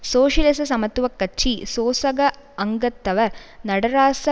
சோசியலிச சமத்துவ கட்சி சோசக அங்கத்தவர் நடராச